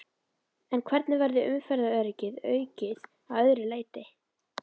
En hvernig verður umferðaröryggi aukið að öðru leyti?